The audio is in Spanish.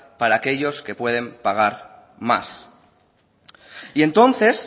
para aquellos que puede pagar más y entonces